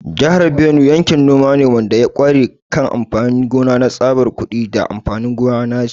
Jihar Benue yankin noma ne wanda ya ƙware kan amfanin gona na tsabar kuɗi da amfanin gona na ci.